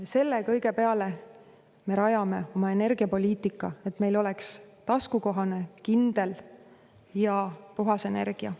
Selle kõige peale me rajame oma energiapoliitika, et meil oleks taskukohane, kindel ja puhas energia.